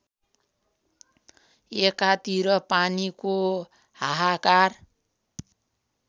एकातिर पानीको हाहाकार